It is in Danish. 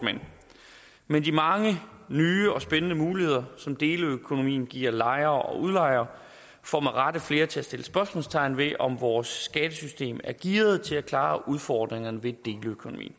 men de mange nye spændende muligheder som deleøkonomien giver lejere og udlejere får med rette flere til at sætte spørgsmålstegn ved om vores skattesystem er gearet til at klare udfordringerne vi